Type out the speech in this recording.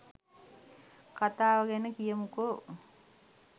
කතාව ගැන කියමුකෝ